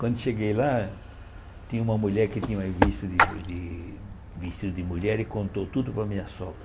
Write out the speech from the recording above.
Quando cheguei lá, tinha uma mulher que tinha visto de de vestido de mulher e contou tudo para a minha sogra.